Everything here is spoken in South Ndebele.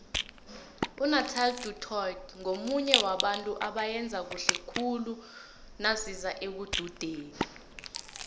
unathelie du toit ngomunye wabantu abayenza khuhle khule naziza ekududeni